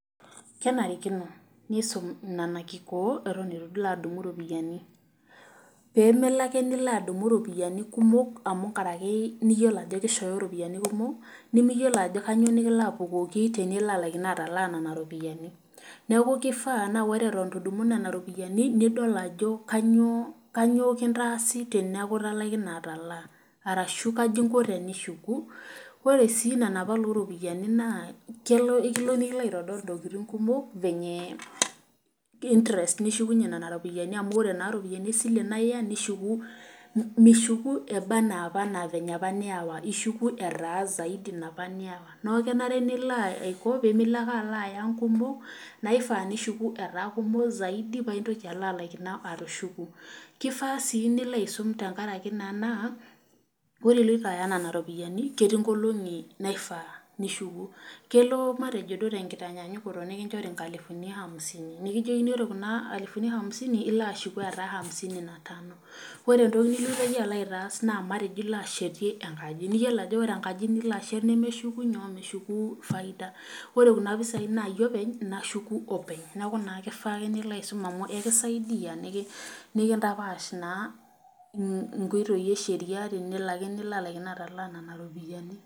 Kenarikino nisum nena kikoot enton eitu ilo adumu nena ropiyiani peemelo ake nilo adumu ropiyiani kumok amu nkaraki niyiolo ajo keishoyo ropiani kumok nimiyiiolo ajo kainyoo nikilo apukoki tenilaikino ashomo ataalaa nena ropiani ,neeku keifaa naa ore eton eitu idumu nena ropiani, nidol ajo kainyoo kintaasi teneeku italaikine ataalaa orashu kaji inko tenishuku, ore sii nena pala ropiyiani naa kelo nikilo aitodol intokiting kumok ,interest nishukunye nean ropiani amu ore naa ropiani esila naa iya nishuku, nishuku ebaa anaa napa niwa ishuku etaa zaidi napa niwa, neeku kenare pemilo ake aya nkumok naifaa nishuku etaa nkumok zaidi paa intoki alo alaikino atushuku .keifaa sii nilo aisum tenkaraki naa ore oloito aya nena ropiyiani ketii nkolongi naifaa nishuku, kelo naaji naa ore tenkitanyaanyuko nikinchori nkalifuni hamsini ore Kuna alifuni hamsini nilo ashuku etaa hamsini na tano ,ore entoki nilo yie alo aitaas naa matejo ilo ashetia enkaji naa yiolo ajo ore enkaji nilo ashet naa meshuku faida. ore kuna pisai naa yie openy olo ashuku openy. neeku keifaa ake nilo aisum amu ekisaidia nikintapaash naa nkoitoi esheria tenelo ake nilaikino ashomo ataalaa nena ropiani.